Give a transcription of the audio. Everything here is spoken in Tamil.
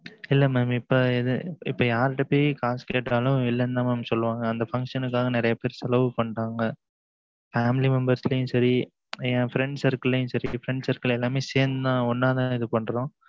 இல்ல mam இப்பம் யாருட்டப்போய் காசு கேட்டாலும் இல்லனு தான் mam சொல்லுவாங்க. அந்த function ஆக நிறைய பேர் செலவு பண்ணிட்டாங்க family membrs சரி என் friend circle சரி friend circle எல்லாரும் சேர்ந்து ஒன்னா தான் இது பண்ணுறோம்